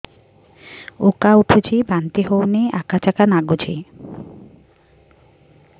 ଉକା ଉଠୁଚି ବାନ୍ତି ହଉନି ଆକାଚାକା ନାଗୁଚି